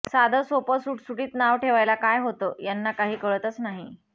साधं सोपं सुटसुटीत नाव ठेवायला काय होतं याना काही कळतंच नाही